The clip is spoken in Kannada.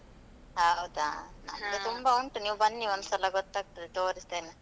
ಹೌದಾ ತುಂಬಾ ಉಂಟು ನೀವ್ ಬನ್ನಿ ಒಂದ್ಸಲ ಗೊತ್ತಾಗ್ತದೆ ತೋರಿಸ್ತೇನೆ.